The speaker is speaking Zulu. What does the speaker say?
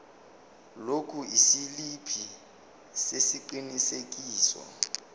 lokhu isiliphi sesiqinisekiso